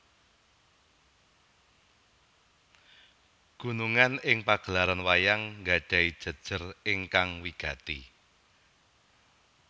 Gunungan ing pagelaran wayang nggadhahi jejer ingkang wigati